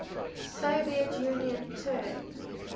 soviet union turned